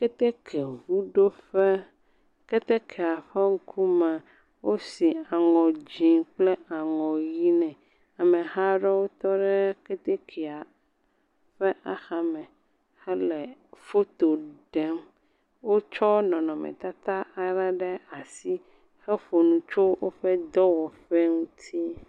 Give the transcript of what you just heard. Keteke ʋu ɖo ƒe. Ketekea ƒe ŋkumea, wosi anɔ dzɛ kple anɔ ɣi. Ameha ɖe tɔ ɖe ketekea ƒe axa me hele foto ɖem. Wokɔ nɔnɔme tata aɖe ɖe asi. He ƒo nu tso woƒe dɔwɔƒe ŋuti.